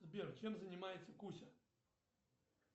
сбер чем занимается кузя